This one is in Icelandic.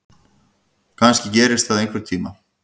Kannski gerist það einhvern tíma.